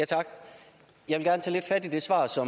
jeg altså også